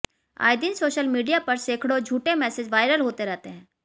आए दिन social media पर सैकड़ों झूठे मैसेज वायरल होते रहते हैं